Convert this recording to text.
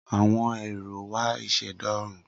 Awọn éro wà iseda Oorun